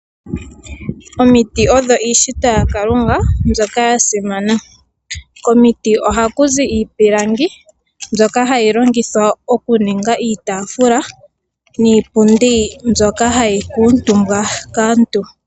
Omiti odho iishitwa yaKalunga mbyoka ya simana. Komiti ohaku zi iipilangi mbyoka hayi longithwa okuninga iitaafula niipundi mbyoka hayi kuutumbwa kaantu.